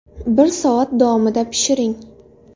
Bir soat davomida pishiring.